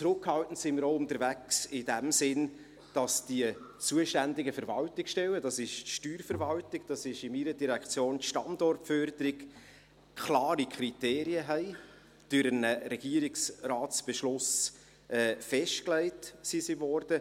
Zurückhaltend sind wir auch in dem Sinn unterwegs, indem die zuständigen Verwaltungsstellen – das ist die Steuerverwaltung, das ist in meiner Direktion die Standortförderung – klare Kriterien haben, die durch einen RRB festgelegt wurden.